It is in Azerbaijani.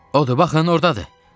Odur, baxın, ordadır.